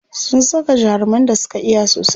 Sun saka jaruman da suka iya sosai.